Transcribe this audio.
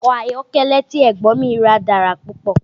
Ọkọ̀ ayọ́kẹ́lẹ́ tí Ẹ̀gbọ́n mi rà dára púpọ̀